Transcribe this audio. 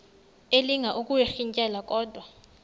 elinga ukuyirintyela kodwa